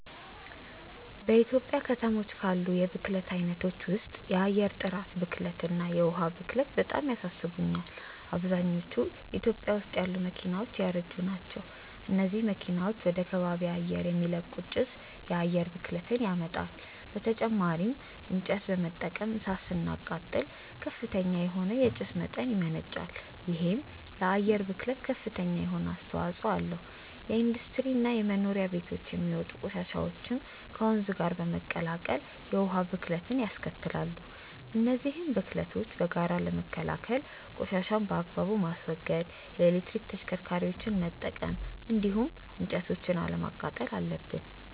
በኢትዮጵያ ከተሞች ካሉ የብክለት አይነቶች ውስጥ የአየር ጥራት ብክለት እና የዉሃ ብክለት በጣም ያሳስቡኛል። አብዛኞቹ ኢትዮጵያ ውስጥ ያሉ መኪናዎች ያረጁ ናቸው። እነዚህ መኪናዎች ወደ ከባቢ አየር የሚለቁት ጭስ የአየር ብክለትን ያመጣል። በተጨማሪም እንጨት በመጠቀም እሳት ስናቃጥል ከፍተኛ የሆነ የጭስ መጠን ያመነጫል። ይሄም ለአየር ብክለት ከፍተኛ የሆነ አስተዋጽኦ አለው። ከኢንዱስትሪ እና ከመኖሪያ ቤቶች የሚወጡ ቆሻሻዎችም ወንዝ ጋር በመቀላቀል የውሃ ብክለትንያስከትላሉ። እነዚህን ብክለቶች በጋራ ለመከላከል ቆሻሻን በአግባቡ ማስወገድ፣ የኤሌክትሪክ ተሽከርካሪዎችን መጠቀም እንዲሁም እንጨቶችን አለማቃጠል አለብን።